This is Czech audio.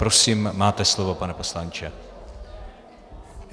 Prosím, máte slovo, pane poslanče.